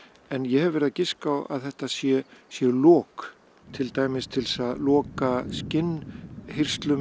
en ég hef verið að giska á að þetta séu séu lok til dæmis til að loka